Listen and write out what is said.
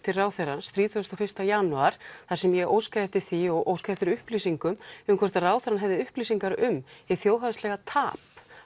til ráðherrans þrítugasta og fyrsta janúar þar sem ég óska eftir því og óska eftir upplýsingum um hvort að ráðherra hefði upplýsingar um hið þjóðhagslega tap